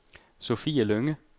Sofie Lynge